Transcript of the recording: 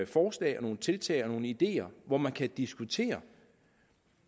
forslag og nogle tiltag og nogle ideer hvor man kan diskutere